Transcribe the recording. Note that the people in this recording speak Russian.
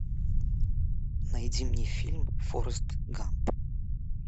найди мне фильм форест гамп